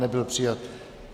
Nebyl přijat.